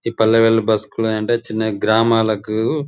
''ఈ పల్లె వెలుగు బస్సు చిన్న గ్రామాలకు''''--''''''